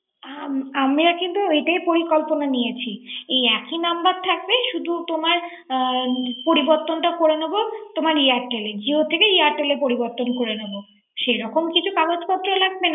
আমরা কিন্তু এটাই পরিকল্পনা নিয়েছি। একই নাম্বার থাকবে। শুধু তোমার অম পরিবর্তন করে নিব তোমার airtel এ জিও থেকে airtel পরিবর্তন করে নিব। সেরকম কিছু কাগজ পত্র